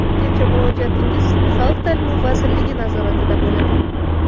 Ungacha murojaatingiz Xalq ta’limi vazirligi nazoratida bo‘ladi”.